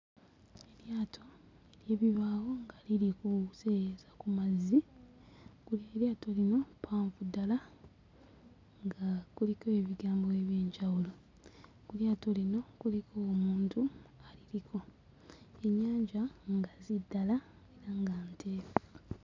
Eryato ery'ebibaawo nga liri kuseeyeeyeza ku mazzi, ku eryato lino ppanvu ddala nga kuliko ebigambo eby'enjawulo, ku lyato lino kuliko omuntu aliriko, ennyanja ngazi ddala era nga nteefu.